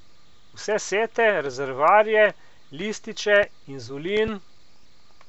Vse sete, rezervoarje, lističe, inzulin ...